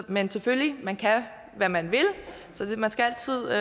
men selvfølgelig man kan hvad man vil så man skal altid